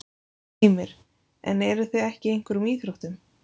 Heimir: En eruð þið ekki í einhverjum íþróttum?